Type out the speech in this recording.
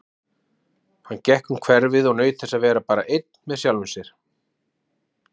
Hann gekk um hverfið og naut þess að vera bara einn með sjálfum sér.